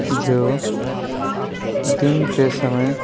जो दिन के समय --